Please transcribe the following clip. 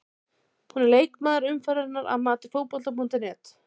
Hún er leikmaður umferðarinnar að mati Fótbolta.net.